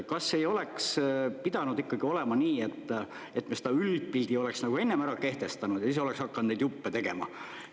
Kas ei oleks pidanud ikkagi olema nii, et me selle üldpildi oleks nagu ennem ära kehtestanud ja siis oleks hakanud neid juppe tegema?